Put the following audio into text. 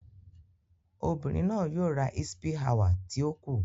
Obirin naa yoo ra hsppy hour ti o ku.